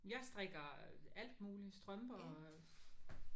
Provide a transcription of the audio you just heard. Jeg strikker alt muligt. Strømper